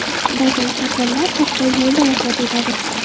Ba’zan kasallar hatto yo‘lda vafot etadi.